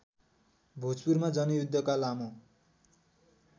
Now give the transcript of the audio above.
भोजपुरमा जनयुद्धका लामो